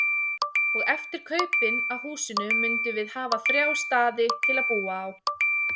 Og eftir kaupin á húsinu mundum við hafa þrjá staði til að búa á.